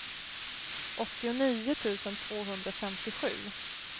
åttionio tusen tvåhundrafemtiosju